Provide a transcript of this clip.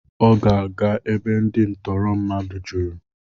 Ọ ga-aga ebe ndị ntụrụ mmadụ juru.